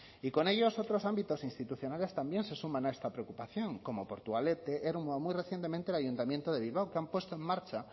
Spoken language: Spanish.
y con ellos otros ámbitos institucionales también se suman a esta preocupación como portugalete ermua muy recientemente el ayuntamiento de bilbao que han puesto en marcha